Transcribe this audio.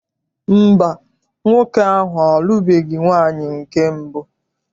Mba, nwoke ahụ alụbeghi nwaanyị nke mbụ.